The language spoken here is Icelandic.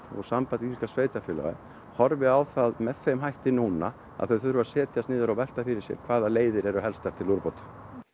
og Samband íslenskra sveitarfélaga horfi á það með þeim hætti núna að þau þurfa að setjast niður og velta fyrir sér hvaða leiðir eru helstar til úrbóta